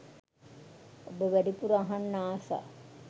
ඔබ වැඩිපුර අහන්න ආස